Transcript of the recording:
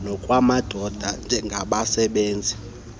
nokwamadoda njengabenzi zigqibp